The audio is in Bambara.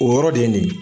O yɔrɔ de ye nin ye